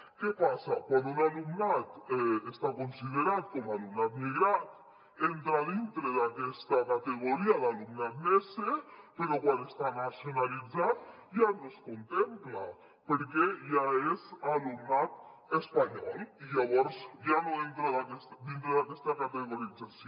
què passa quan un alumnat està considerat com a alumnat migrat entra dintre d’aquesta categoria d’alumnat nese però quan està nacionalitzat ja no es contempla perquè ja és alumnat espanyol i llavors ja no entra dintre d’aquesta categorització